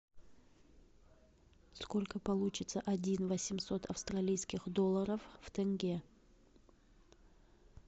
сколько получится один восемьсот австралийских долларов в тенге